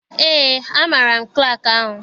Eé, amaara m klaakị ahụ.